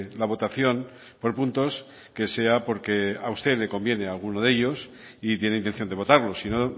la votación por puntos que sea porque a usted le conviene alguno de ellos y tiene intención de votarlos sino